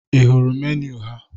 Ị hụrụ meniu ha?